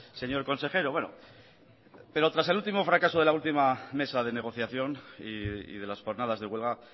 señor consejero bueno pero tras el último fracaso de la última mesa de negociación y de las jornadas de huelga